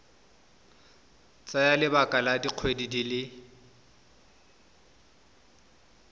tsaya lebaka la dikgwedi di